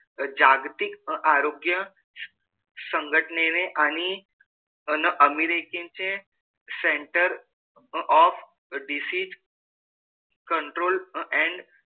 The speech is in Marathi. जागतिक आरोग्य संघटनेने आणि अन अमेरिकेचे center of disease control and,